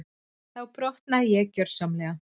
Þá brotnaði ég gjörsamlega.